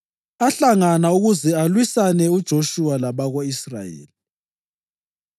ahlangana ukuze alwisane uJoshuwa labako-Israyeli.